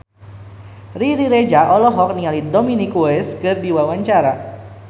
Riri Reza olohok ningali Dominic West keur diwawancara